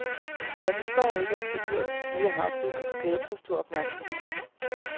Jeg forstår ikke, at en figur som den lille havfrue kan skabe så stor opmærksomhed.